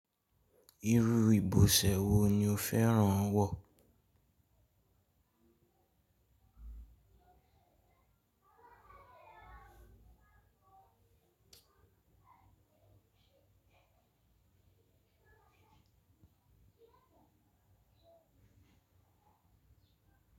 Irú ìbọ̀sẹ̀ wo ni o fẹ́ràn wọ̀?